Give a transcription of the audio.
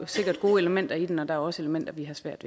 sikkert gode elementer i den og der er jo også elementer vi har svært